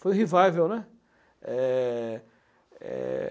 Foi um revival, né? é, é